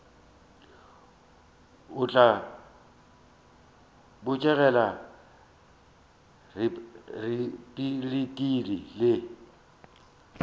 o tla botegela repabliki le